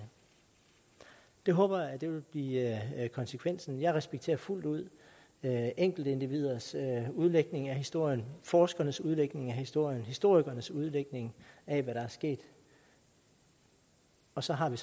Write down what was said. det håber jeg vil blive konsekvensen jeg respekterer fuldt ud enkeltindividers udlægning af historien forskernes udlægning af historien historikernes udlægning af hvad der er sket og så har vi